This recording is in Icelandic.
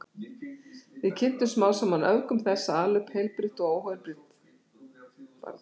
Við kynntumst smám saman öfgum þess að ala upp heilbrigt barn og óheilbrigt.